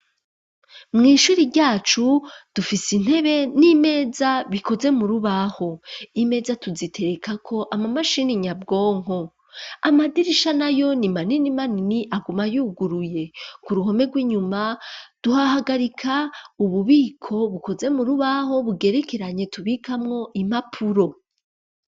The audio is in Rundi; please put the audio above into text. Mw'ishuri ryacu dufise intebe n'imeza bikoze mu rubaho imeza tuzitereka ko ama mashini nyabwonko amadirisha nayo ni manini manini aguma yuguruye ku ruhome rw'inyuma tuhahagarika ububiko bukoze mu rubaho bugerekeranye tubikamwo impapuro